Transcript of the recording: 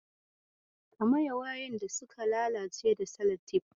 Ka maye wayoyin da suka lalace da salatif.